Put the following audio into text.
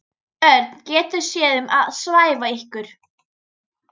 Örn getur séð um að svæfa ykkur.